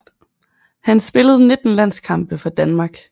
Han spillede 19 landskampe for Danmark